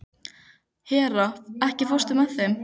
Hera, ekki fórstu með þeim?